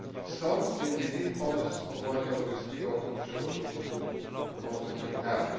Stąd między innymi pomysł powołania Europejskiego Ochotniczego Korpusu Pomocy Humanitarnej.